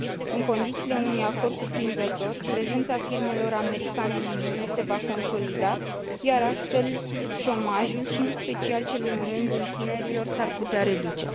În condițiile unui acord cuprinzător, prezența firmelor americane în Uniune se va consolida, iar astfel șomajul, și în special cel în rândul tinerilor, s ar putea reduce.